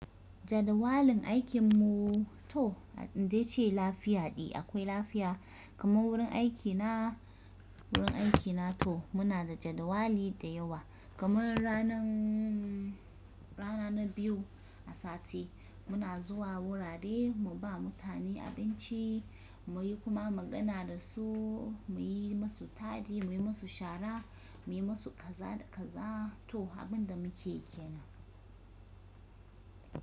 Jadawalin aikin mu to, in dai ce lafiya de akwai lafiya. Kaman wurin aiki na wurin aiki na to muna da jadawali da yawa kaman rana na biyu a sati muna zuwa wurare mu ba mutane abinci muyi kuma magana da su, muyi masu tadi, muyi masu shara, muyi masu kaza da kaza, to abin da muke yi kenan.